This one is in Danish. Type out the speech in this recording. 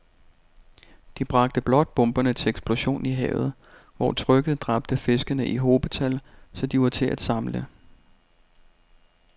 De bragte blot bomberne til eksplosion i havet, hvor trykket dræbte fiskene i hobetal, så de var til at samle